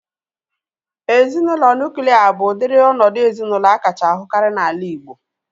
Ezinaụlọ nuklia bụ udiri ọnọdụ ezinaụlọ akacha ahukari n'ala Igbo